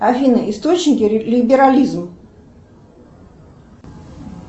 афина источники либерализм